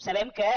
sabem que